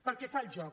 pel que fa al joc